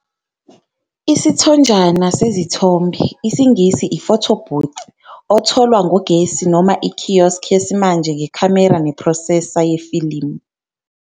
Isithonjana sezithombe, isiNgisi- i-Photo Booth, otholwa ngogesi noma i-kiosk yesimanje ngekhamera ne-processor yefilimu.